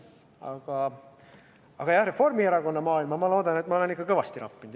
Aga jah, ma loodan, et Reformierakonna maailma olen ma ikka kõvasti rappinud.